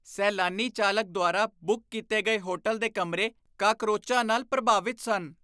ਸੈਲਾਨੀ ਚਾਲਕ ਦੁਆਰਾ ਬੁੱਕ ਕੀਤੇ ਗਏ ਹੋਟਲ ਦੇ ਕਮਰੇ ਕਾਕਰੋਚਾਂ ਨਾਲ ਪ੍ਰਭਾਵਿਤ ਸਨ।